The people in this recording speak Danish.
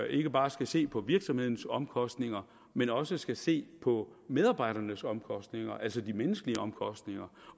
ikke bare skal se på virksomhedens omkostninger men også skal se på medarbejdernes omkostninger altså de menneskelige omkostninger